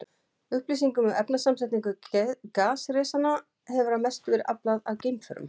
Upplýsingum um efnasamsetningu gasrisanna hefur að mestu verið aflað af geimförum.